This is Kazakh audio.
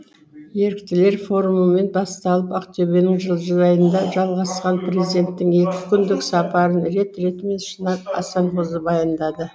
еріктілер форумымен басталып ақтөбенің жылыжайында жалғасқан президенттің екі күндік сапарын рет ретімен шынар асанқызы баяндайды